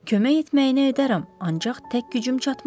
Kömək etməyinə edərəm, ancaq tək gücüm çatmaz.